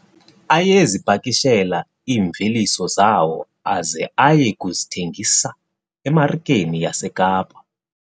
Ayezipakishela iimveliso zawo aze aye kuzithengisa emarikeni yaseKapa.